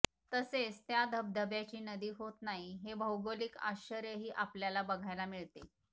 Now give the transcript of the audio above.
तसेच त्या धबधब्याची नदी होत नाही हे भौगोलिक आश्चर्यही आपल्याला बघायला मिळते